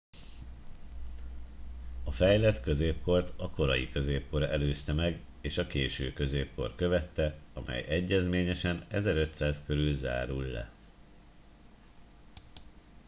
a fejlett középkort a korai középkor előzte meg és a késő középkor követte amely egyezményesen 1500 körül zárul le